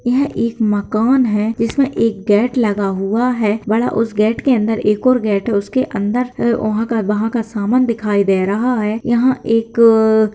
यहाँ एक मकान है जिसमें एक गेट लगा हुआ है वह उस गेट के अंदर एक और गेट है उसके अंदर है वहाँं का वहाँं का सामान दिखाई दे रहा है यहाँ एक--